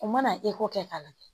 U mana kɛ k'a lajɛ